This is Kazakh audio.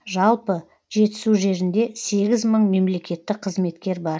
жалпы жетісу жерінде сегіз мың мемлекеттік қызметкер бар